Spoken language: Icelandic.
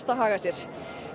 að haga sér